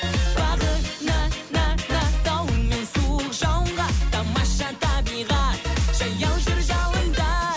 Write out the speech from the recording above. бағына на на дауыл мен суық жауынға тамаша табиғат жаяу жүр жауында